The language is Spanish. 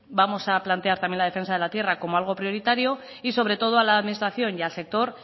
vamos a plantear también la defensa de la tierra como algo prioritario y sobre todo a la administración y a la sector